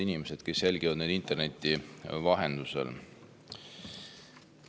Head inimesed, kes te jälgite meid interneti vahendusel!